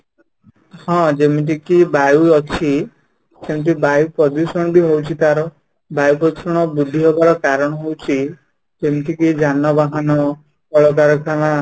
ହଁ ଯେମିତି କି ବାୟୁ ଅଛି ସେମିତି ବାୟୁ ପ୍ରଦୂଷଣ ବି ରହୁଛି ତା'ର ବାୟୁ ପ୍ରଦୂଷଣ ବୃଦ୍ଧି ହେବାର କାରଣ ହଉଛି ଯେମିତିକି ଯାନବାହାନ, କଳକାରଖାନା